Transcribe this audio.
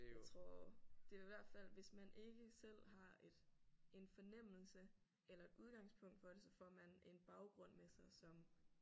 Jeg tror det er i hvert fald hvis man ikke selv har et en fornemmelse eller et udgangspunkt for det så får man en baggrund med sig som